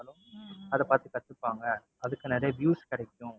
அதை பாத்து கத்துப்பாங்க அதுக்கு நிறைய views கிடைக்கும்.